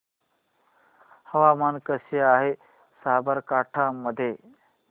हवामान कसे आहे साबरकांठा मध्ये